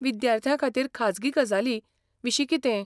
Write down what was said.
विद्यार्थ्यां खातीर खाजगी गजालीं विशीं कितें?